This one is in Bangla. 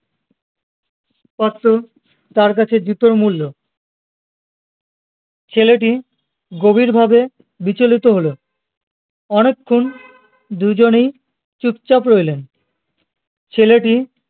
কত তার কাছে জুতোর মূল্য ছেলেটি গভীর ভাবে বিচলিত হলো অনেক্ষন দুজনেই চুপচাপ রইলেন ছেলেটি